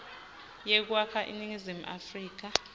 yekwakha iningizimu afrika